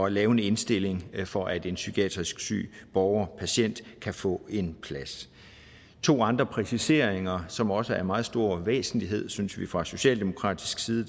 at lave en indstilling for at en psykiatrisk syg borgerpatient kan få en plads to andre præciseringer som også er af meget stor væsentlighed synes vi fra socialdemokratisk side